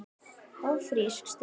Ófrísk? stundi ég.